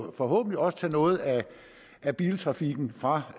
og forhåbentlig også tage noget af biltrafikken væk fra